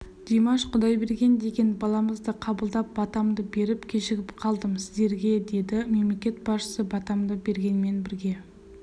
димаш құдайберген деген баламызды қабылдап батамды беріп кешігіп қалдым сіздерге деді мемлекет басшысы батамды бергенмен бірге